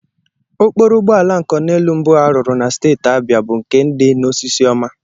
Okporo ụgbọala nkoneelu mbụ a rụrụ na steeti abịa bụ nke dị n'Osisiọma